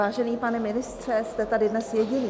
Vážený pane ministře , jste tady dnes jediný.